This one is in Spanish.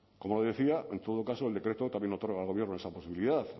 como decía en todo caso el decreto también otorga al gobierno esa posibilidad